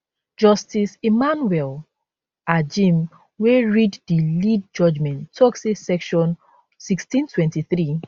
justice emmanuel agim wey read di lead judgement tok say section 1623